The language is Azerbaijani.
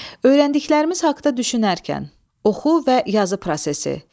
Öyrəndiklərimiz haqda düşünərkən oxu və yazı prosesi.